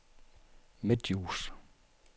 Midtdjurs